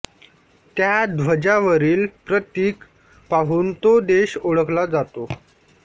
त्या ध्वजावरील प्रतीक पाहून तो देश ओळखला जातो